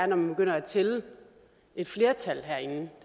når man begynder at tælle et flertal herinde